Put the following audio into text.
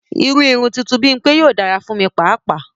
Ìrù ìrun tuntun ti Bimpe yóò dara fun mi pàapàa.